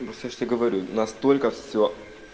просто я же тебе говорю настолько все